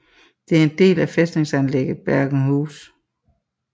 Det er en del af fæstningsanlægget Bergenhus